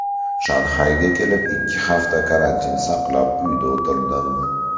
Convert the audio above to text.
Shanxayga kelib ikki hafta karantin saqlab uyda o‘tirdim.